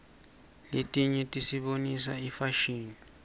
letinye tisibonisa ifashini